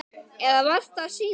Eða var það síðar?